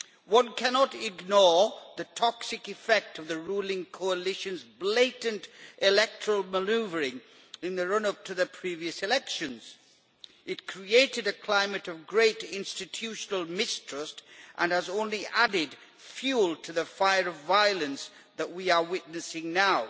One cannot ignore the toxic effect of the ruling coalition's blatant electoral manoeuvring in the run up to the previous elections. It created a climate of great institutional mistrust and has only added fuel to the fire of violence that we are witnessing now.